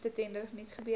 nuutste tenders nuusgebeure